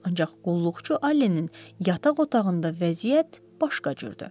Ancaq qulluqçu Allenin yataq otağında vəziyyət başqa cürdür.